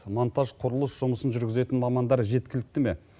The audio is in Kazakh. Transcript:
мантаж құрылыс жұмысын жүргізетін мамандар жеткілікті ме